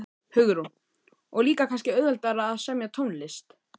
Hugrún: Og líka kannski auðveldara að semja tónlist?